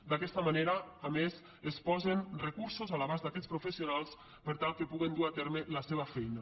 d’aquesta manera a més es posen recursos a l’abast d’aquests professionals per tal que puguen dur a terme la seva feina